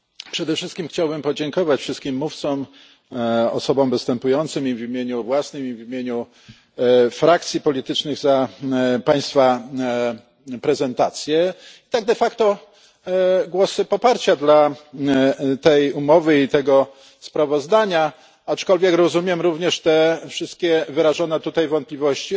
Przede wszystkim chciałbym podziękować wszystkim mówcom, osobom występującym i w imieniu własnym, i w imieniu frakcji politycznych, za Państwa prezentacje i tak głosy poparcia dla tej umowy i tego sprawozdania, aczkolwiek rozumiem również wszystkie wyrażone tutaj wątpliwości.